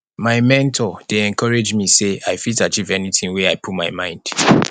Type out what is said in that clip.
my mentor dey encourage me sey i fit achieve anything wey i put my mind